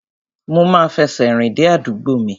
Mo ma fẹsẹ̀ rìn dé àdúgbò mi.